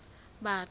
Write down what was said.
batho